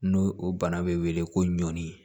N'o o bana bɛ wele ko ɲɔni